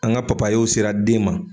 An ŋa papayew sera den ma